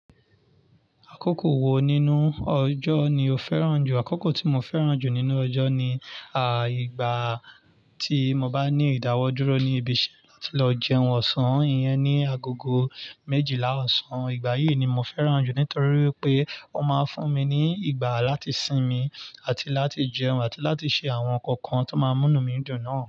Àkókò wo nínú ọjọ́ ni o fẹ́ràn jù? Àkókò tí mo fẹ́ràn jù nínú ọjọ́ ni, igbà tí mo bá ní ìdáwọ́ dúró ní ibi iṣẹ́ láti lọ jẹun ọ̀sán. Ìyẹn ni agogo méjìlá ọ̀sán. Ìgbà yìí ni mo fẹ́ràn jù nítorí wipé ó máa n fún mi ní ìgbà láti sinmi àti láti jẹun àti láti ṣe àwọn nǹkan kan tó máa n múnu mi dùn náà.